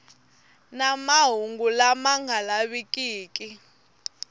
na mahungu lama nga lavikiki